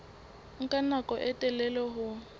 nka nako e telele ho